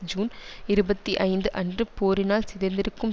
June இருபத்தி ஐந்து அன்று போரினால் சிதைந்திருக்கும்